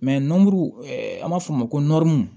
nɔnburu an b'a fɔ o ma ko